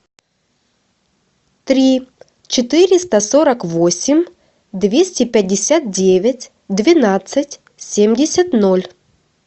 три четыреста сорок восемь двести пятьдесят девять двенадцать семьдесят ноль